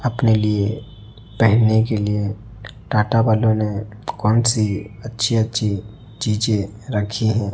अपने लिए पहने के लिए टाटा वालो ने कौन सी अच्छी अच्छी चीजें रखी है।